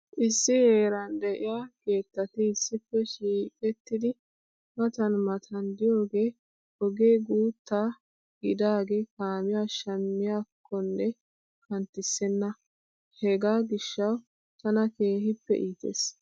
Issi heeran de'iya keettati issippe shiiqettidi matan matan diyogee ogee guutta gidagee kaamiya shammiyakkonne kanttissenna. Hegaa gishshawu tana keehippe iites.